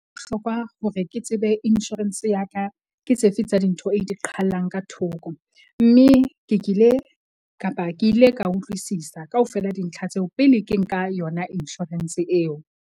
Hore ke tsebe insurance ya ka, ke tsefe tsa dintho e di qhallang ka thoko. Mme ke kile kapa ke ile ka utlwisisa kaofela dintlha tseo pele ke nka yona insurance eo.